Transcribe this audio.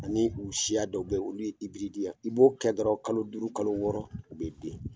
Ani u siya dɔw be yen olu ye, i b'o kɛ dɔrɔn kalo duuru kalo wɔɔrɔ u be den.